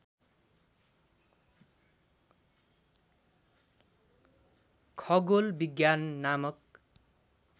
खगोल विज्ञान नामक